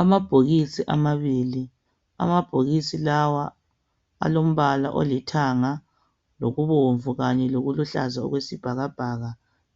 Amabhokisi amabili. Amabhokisi lawa alombala olithanga lokubomvu kanye lokuluhlaza okwesibhakabhaka